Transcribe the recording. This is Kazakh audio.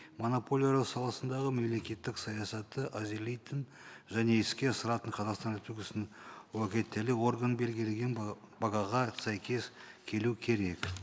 монополиялар саласындағы мемлекеттік саясатты әзірлейтін және іске асыратын қазақстан республикасының орган белгілеген бағаға сәйкес келу керек